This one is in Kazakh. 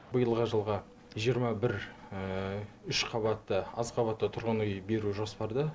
биылғы жылға жиырма бір үш қабатты аз қабатты тұрғын үй беру жоспарда